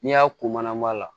N'i y'a ko mana ma la